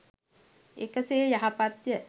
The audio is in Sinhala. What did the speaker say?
එකසේ යහපත් ය.